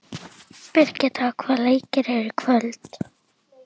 Birgitta, hvaða leikir eru í kvöld?